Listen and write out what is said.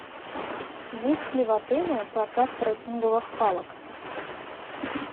есть ли в отеле прокат треккинговых палок